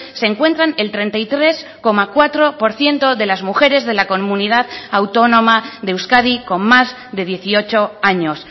se encuentran el treinta y tres coma cuatro por ciento de las mujeres de la comunidad autónoma de euskadi con más de dieciocho años